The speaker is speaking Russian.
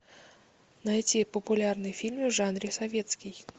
найти популярные фильмы в жанре советский